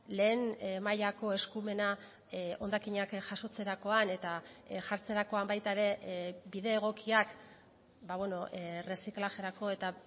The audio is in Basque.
lehen mailako eskumena hondakinak jasotzerakoan eta jartzerakoan baita ere bide egokiak erreziklajerako eta